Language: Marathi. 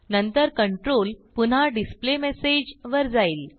नंतर कंट्रोल पुन्हा डिस्प्लेमेसेज वर जाईल